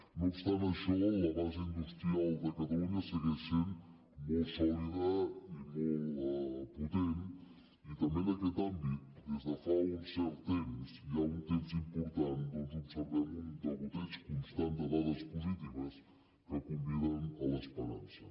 no obstant això la base industrial de catalunya segueix sent molt sòlida i molt potent i també en aquest àmbit des de fa un cert temps ja un temps important doncs observem un degoteig constant de dades positives que conviden a l’esperança